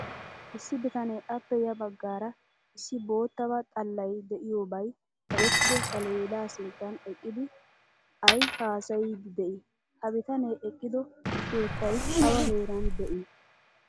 Issi bitane appe ya baggaara issi boottaba xallay de'iyobay kaqqettido saaleda sinttan eqqidi ayi hasayidi dei? Ha bitane eqqido keettay awa heeran de'ii?